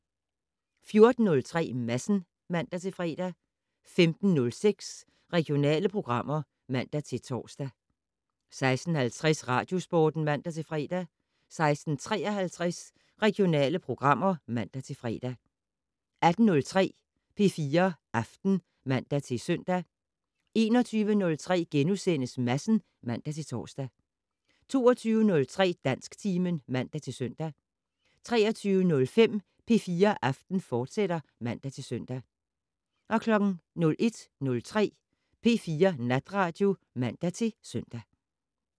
14:03: Madsen (man-fre) 15:06: Regionale programmer (man-tor) 16:50: Radiosporten (man-fre) 16:53: Regionale programmer (man-fre) 18:03: P4 Aften (man-søn) 21:03: Madsen *(man-tor) 22:03: Dansktimen (man-søn) 23:05: P4 Aften, fortsat (man-søn) 01:03: P4 Natradio (man-søn)